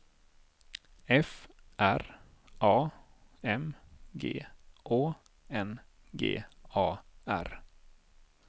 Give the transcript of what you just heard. F R A M G Å N G A R